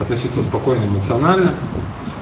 относиться спокойно эмоционально